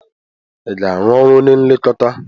Ị ga-arụ ọrụ onye nlekọta?